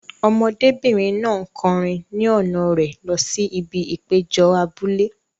Ọmọdébìnrin náà ń kọrin ni ọ̀nà rẹ̀ lọ sí ibi ìpéjọ abúlé.